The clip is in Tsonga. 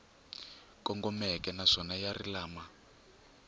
kongomeke naswona ya ri lama